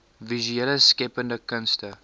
visuele skeppende kunste